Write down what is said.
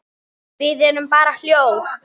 Við erum bara hjól.